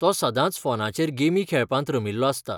तो सदांच फोनचेर गेमी खेळपांत रमिल्लो आसता.